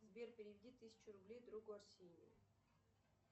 сбер переведи тысячу рублей другу арсению